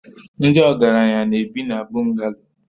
Ndị ọgaranya na-ebi na Bungalo